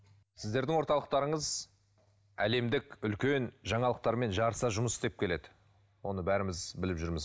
сіздердің орталықтарыңыз әлемдік үлкен жаңалықтармен жарыса жұмыс істеп келеді оны бәріміз біліп жүрміз